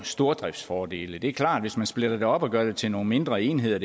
stordriftsfordele det er klart at hvis man splitter det op og gør det hele til nogle mindre enheder